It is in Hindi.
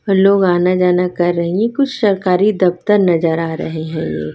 ओ लोग आना जाना कर रही कुछ सरकारी दफ्तर नजर आ रहे है ये--